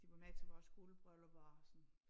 De var med til vores guldbryllup og sådan